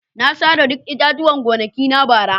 Na sare duk itatuwan gonakina bara.